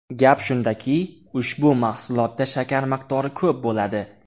Gap shundaki, ushbu mahsulotda shakar miqdori ko‘p bo‘ladi.